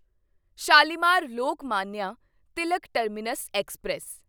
Shalimar Lokmanya Tilak terminus express